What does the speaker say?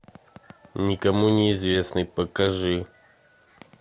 никому неизвестный покажи